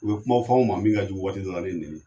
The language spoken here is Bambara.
U bɛ kuma fɔw ma min ka jugu waati dɔw la ni nɛnini ye